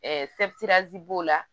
b'o la